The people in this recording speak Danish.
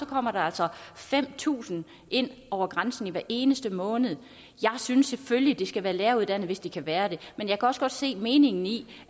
kommer der altså fem tusind ind over grænsen hver eneste måned jeg synes selvfølgelig at de skal være læreruddannede hvis de kan være det men jeg kan også godt se meningen i